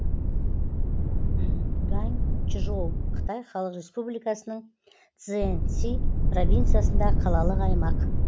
ганьчжоу қытай халық республикасының цзянси провинциясындағы қалалық аймақ